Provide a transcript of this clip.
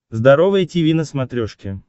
здоровое тиви на смотрешке